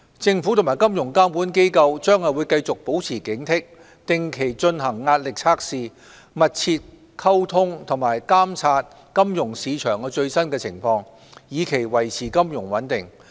政府和金融監管機構將繼續保持警惕，定期進行壓力測試，保持密切溝通並監察金融市場最新情況，以期維持金融穩定。